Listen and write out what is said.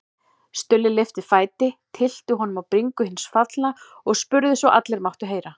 Stulli lyfti fæti, tyllti honum á bringu hins fallna og spurði svo allir máttu heyra